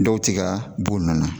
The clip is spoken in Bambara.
Dɔw ti ka bɔ nun na